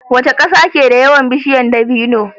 Waca ƙasa keda yawan bishiyar dabino